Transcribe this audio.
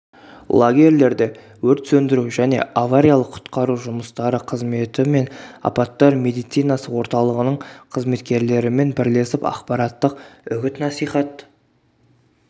лагерьлерде өрт сөндіру және авариялық-құтқару жұмыстары қызметі мен апаттар медицинасы орталығының қызметкерлерімен бірлесіп ақпараттық үгіт-насихат